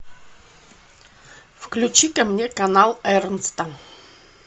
включи ка мне канал эрнста